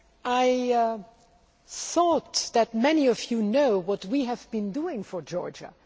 I thought that many of you knew what we have been doing for Georgia.